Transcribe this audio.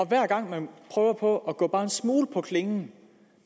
hver gang man prøver på at gå det bare en smule på klingen